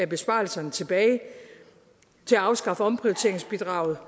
besparelserne tilbage til at afskaffe omprioriteringsbidraget